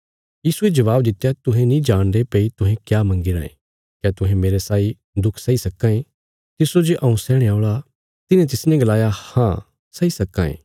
यीशुये जबाब दित्या तुहें नीं जाणदे भई तुहें क्या मंगी रायें क्या तुहें मेरे साई दुख सैई सक्कां ये तिस्सो जे हऊँ सैहणे औल़ा तिन्हें तिसने गलाया हाँ सही सक्कां ये